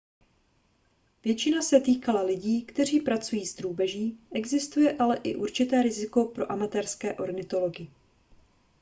většina se týkala lidí kteří pracují s drůbeží existuje ale i určité riziko pro amatérské ornitology